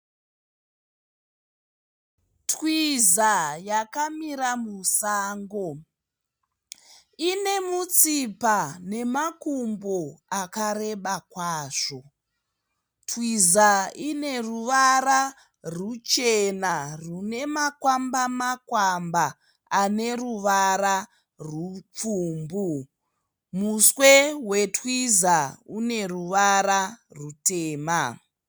Twiza yakamira musango. Ine mutsipa nemakumbo akareba kwazvo. Twiza ine ruvara ruchena rwune makwamba makwamba ane ruvara rupfumbu. Muswe wetwiza une ruvara rutema.